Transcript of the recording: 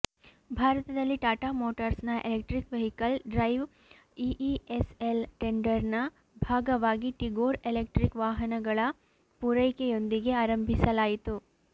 ಭಾರತದಲ್ಲಿ ಟಾಟಾ ಮೋಟಾರ್ಸ್ನ electric vehicle drive EESL ಟೆಂಡರ್ನ ಭಾಗವಾಗಿ ಟಿಗೋರ್ ಎಲೆಕ್ಟ್ರಿಕ್ ವಾಹನಗಳ ಪೂರೈಕೆಯೊಂದಿಗೆ ಆರಂಭಿಸಲಾಯಿತು